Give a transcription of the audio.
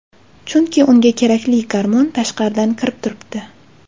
Chunki unga kerakli gormon tashqaridan kirib turibdi.